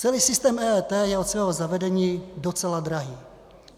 Celý systém EET je od svého zavedení docela drahý.